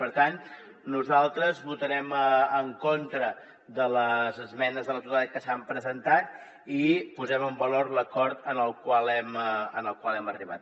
per tant nosaltres votarem en contra de les esmenes a la totalitat que s’han presentat i posem en valor l’acord al qual hem arribat